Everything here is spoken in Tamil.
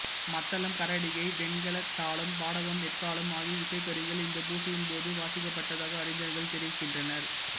மத்தளம் கரடிகை வெண்கலத்தாளம் பாடகம் எக்காளம் ஆகிய இசைக்கருவிகள் இந்த பூசையின் போது வாசிக்கப்பட்டதாக அறிஞர்கள் தெரிவிக்கின்றனர்